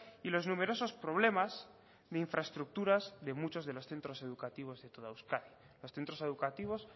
y los numerosos problemas de infraestructuras de muchos de los centros educativos de toda euskadi los centros educativos